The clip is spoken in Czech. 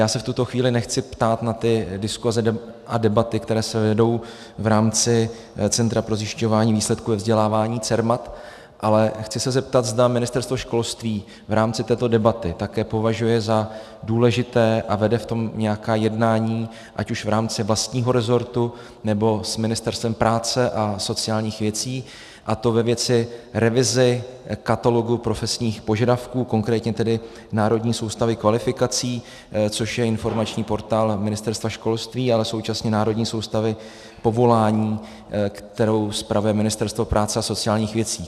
Já se v tuto chvíli nechci ptát na ty diskuse a debaty, které se vedou v rámci Centra pro zjišťování výsledků ve vzdělávání CERMAT, ale chci se zeptat, zda Ministerstvo školství v rámci této debaty také považuje za důležité a vede v tom nějaká jednání ať už v rámci vlastního rezortu, nebo s Ministerstvem práce a sociálních věcí, a to ve věci revize katalogu profesních požadavků, konkrétně tedy Národní soustavy kvalifikací, což je informační portál Ministerstva školství, ale současně Národní soustavy povolání, kterou spravuje Ministerstvo práce a sociálních věcí.